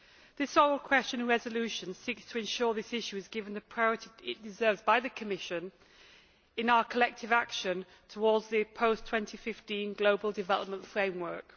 This oral question and resolution seeks to ensure this issue is given the priority it deserves by the Commission in our collective action towards the post 2015 global development framework.